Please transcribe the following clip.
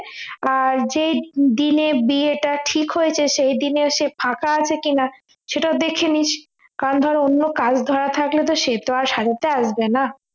আর যে দিনে বিয়েটা ঠিক হয়েছে সেই দিনে সে ফাঁকা আছে কিনা সেটাও দেখে নিস কারণ ধর অন্য কাজ ধরা থাকলে সে তো আর সাজাতে আসবে না